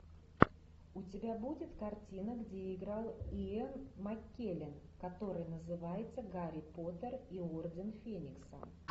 у тебя будет картина где играл иэн маккеллен который называется гарри поттер и орден феникса